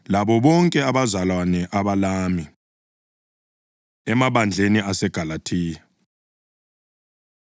labo bonke abazalwane abalami. Emabandleni aseGalathiya: